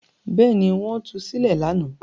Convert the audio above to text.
Bẹ́ẹ̀ ni, wọ́n tu sílẹ̀ lánàá.